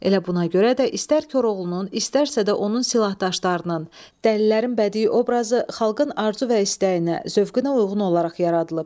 Elə buna görə də istər Koroğlunun, istərsə də onun silahdaşlarının, dəlilərin bədii obrazı xalqın arzu və istəyinə, zövqünə uyğun olaraq yaradılıb.